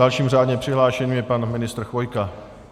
Dalším řádně přihlášeným je pan ministr Chvojka.